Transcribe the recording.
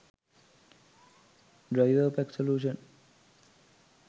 driverpack solution